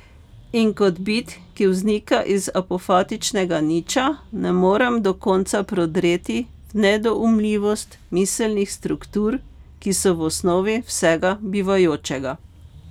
In kot bit, ki vznika iz apofatičnega Niča, ne morem do konca prodreti v nedoumljivost miselnih struktur, ki so v osnovi vsega bivajočega.